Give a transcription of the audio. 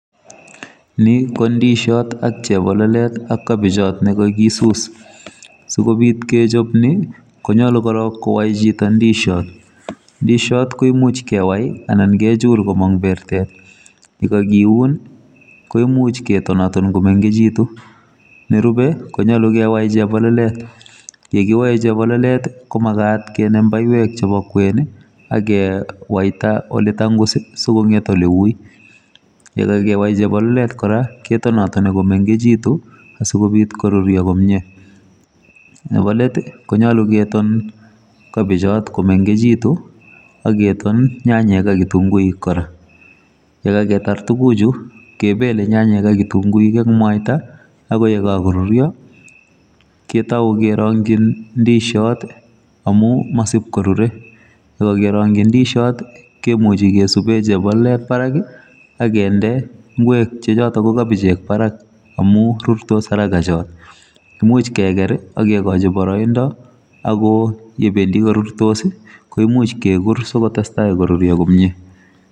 Ni ko ndishot, ak chebololet, ak kabichot ne kakisus. Sikobit kechop ni, konyolu korok kowai chito ndishot. Ndishot ko imuch kewai anan kechul komong' bertet,. Ye kakiun, ko imuch ketonaton komengechitu. Nerube, konyolu kewai chebololet. Ye kiwae chebololet, ko magat kenem baiwek chebo kwen, akewaita ole tangus, asikong'et ole ui. Yekakewai chebololet kora, ketonatoni komengechitu, asikobit koruryo komyee. Nebo let, konyolu keton kabichot komenegchitu, ageton nyanyek ak kitunguik kora. Yekaketar tuguk chu, kebele nyanyek ak kitunguik eng' mwaita, akoi yekakoruryo, ketau kerongchi ndishot, amu masipkorure. Yekakerongchi ndishot, kemuchi kesube chebololet barak, agende ngwek che chotok ko kabichek barak, amu rurtos haraka cho. Imuch keker, akegochi boroindo, ako yebendi korurtos, koimuch kekur sikotestai koruryo komyee.